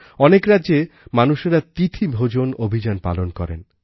অনেক রাজ্যে মানুষেরা তিথি ভোজন অভিযান পালন করেন